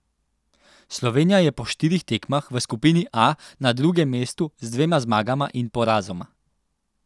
Slovenija je po štirih tekmah v skupini A na drugem mestu z dvema zmagama in porazoma.